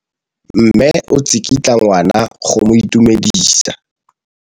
Mme o tsikitla ngwana go mo itumedisa.